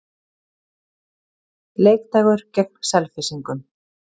Leikdagur gegn Selfyssingum.